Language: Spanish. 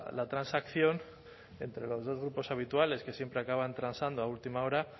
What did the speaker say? la transacción entre los dos grupos habituales que siempre acaban transando a última hora